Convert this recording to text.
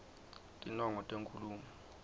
tinongo tenkhulumo